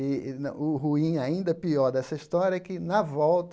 E no o ruim, ainda pior dessa história, é que, na volta,